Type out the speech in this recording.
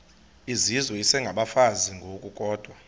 izizwe isengabafazi ngokukodwa